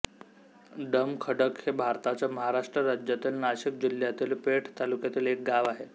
डोमखडक हे भारताच्या महाराष्ट्र राज्यातील नाशिक जिल्ह्यातील पेठ तालुक्यातील एक गाव आहे